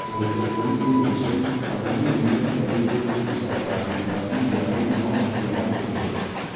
Dagĩka ikũmi cia mũico, Tathania nĩmerũtanĩirie gũbuja ũragĩri wa tĩmu ya Kenya no matĩa-gacĩrire.